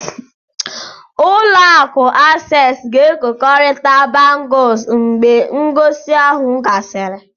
Ụlọ akụ Access ga-ekekọrịta bangles mgbe ngosi ahụ gasịrị.